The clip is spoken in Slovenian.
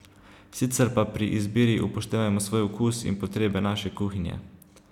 Sicer pa pri izbiri upoštevajmo svoj okus in potrebe naše kuhinje.